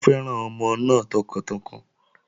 Ó fẹ́ràn ọmọ náà tọkàntọkàn